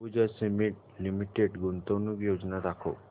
Ambuja cement limited गुंतवणूक योजना दाखव